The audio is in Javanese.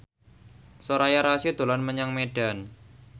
Soraya Rasyid dolan menyang Medan